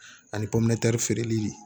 Ani feereli